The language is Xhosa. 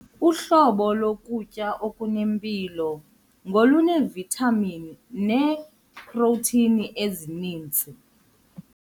Uhlobo lokutya okunempilo ngoluneevithamini neeprotheyini ezininzi.